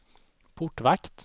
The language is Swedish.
portvakt